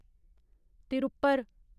Tiruppur